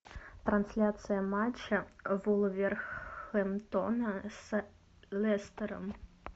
трансляция матча вулверхэмптона с лестером